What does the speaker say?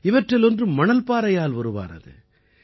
இவற்றில் ஒன்று மணல்பாறையால் உருவானது